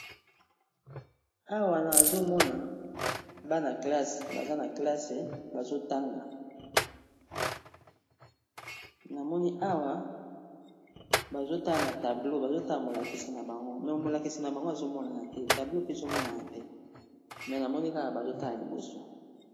awa nazo mona bana klasse baza na klasse bazo tanga na moni awa bazo tala na tableau bazo tala molakisi na bango me molakisi na bango azo monana te tablo mpe ezomonana te me namoni kaka bazotala liboso.